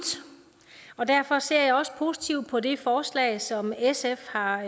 og derfor ser jeg også positivt på det forslag som sf har